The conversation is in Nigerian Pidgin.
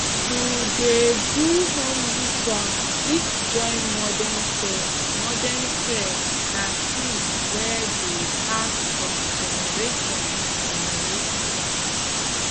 to dey do home ritual fit join modern care modern care na thing wey dey pass from generation to generation